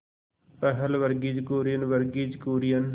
पहल वर्गीज कुरियन वर्गीज कुरियन